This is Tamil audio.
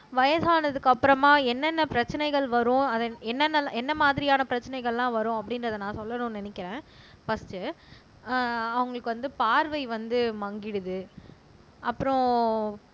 வயசானதுக்கு அப்புறமா என்னென்ன பிரச்சனைகள் வரும் என்னென்ன என்ன மாதிரியான பிரச்சனைகள் எல்லாம் வரும் அப்படின்றதை நான் சொல்லணும்னு நினைக்கிறேன் பர்ஸ்டு அவங்களுக்கு வந்து பார்வை வந்து மங்கிடுது அப்புறம்